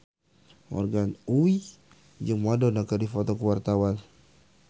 Morgan Oey jeung Madonna keur dipoto ku wartawan